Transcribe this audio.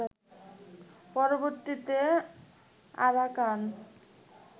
পরবর্তীতে আরাকান